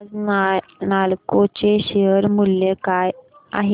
आज नालको चे शेअर मूल्य काय आहे